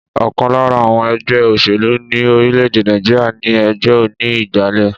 Ọ̀kan lára àwọn ẹgbẹ́ òṣèlú ní orilede Nàìjíríà ni ẹgbẹ oní ìgbàlè